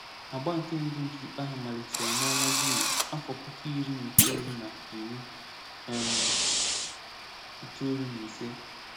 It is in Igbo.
Agba nke mbụ nke ikpe ahụ malitere n'ọnwa Jun afọ puku iri na itoolu na iri um itoolu na ise.